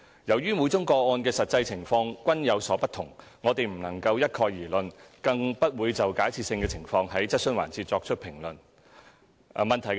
由於每宗個案的實際情況均有所不同，我們不能一概而論，更不會就假設性的情況在質詢環節作出評論。